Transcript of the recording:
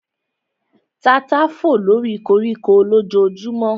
Tata fò lóri koríko lójojúmọ́